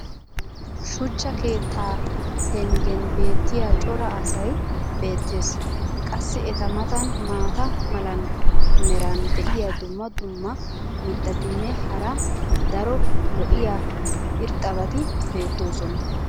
shuchcha keettaa penggen beetiya cora asay beetees. qassi eta matan maata mala meray diyo dumma dumma mitatinne hara daro lo'iya irxxabati beetoosona.